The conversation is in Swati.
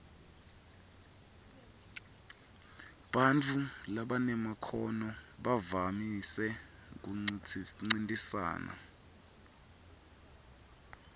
bantfu labanemakhono bavamise kuncintisana